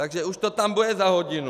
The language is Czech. Takže už to tam bude za hodinu!